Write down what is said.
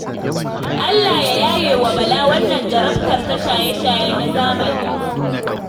Allah ya yaye wa Bala wannan jarabtar ta shaye-shaye na zamani